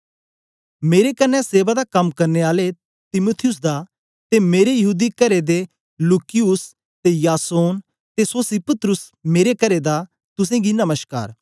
मेरे कन्ने सेवा दा कम करने आले तीमुथियुस दा ते मेरे यहूदी करे दे लूकियुस ते यासोन ते सोसिपत्रुस मेरे करे दा तुसेंगी नमश्कार